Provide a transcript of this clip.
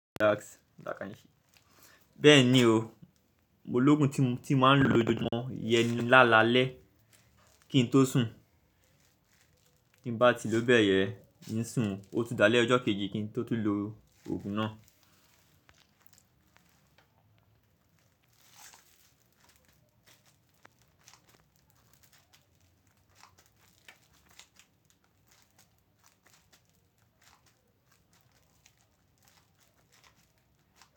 Bẹ́ẹ̀ni o, mológun tí n máa ń lo lójoojúmọ́ iyẹn lálalẹ́ kí n tó sùn, kí n bá ti ló bẹ̀ yẹn, ń sùn, ó tún dá lé ọjọ́ kejì kí n tó tún lo ògùn náà.